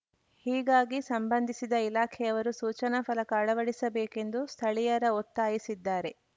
ಹೀಗಾಗಿ ಸಂಬಂಧಿಸಿದ ಇಲಾಖೆಯವರು ಸೂಚನಾ ಫಲಕ ಅಳವಡಿಸಬೇಕೆಂದು ಸ್ಥಳೀಯರ ಒತ್ತಾಯಿಸಿದ್ದಾರೆ